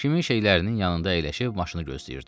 Kimim şeylərinin yanında əyləşib maşını gözləyirdi.